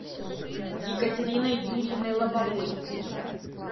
екатериной юрьевной лобовой